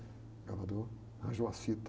O gravador, arranjou as fitas